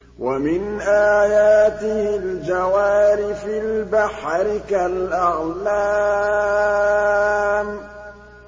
وَمِنْ آيَاتِهِ الْجَوَارِ فِي الْبَحْرِ كَالْأَعْلَامِ